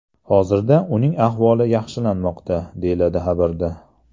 Hozirda uning ahvoli yaxshilanmoqda”, deyiladi xabarda.